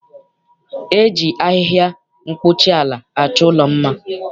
E ji ahịhịa mkpuchiala achọ ụlọ mma.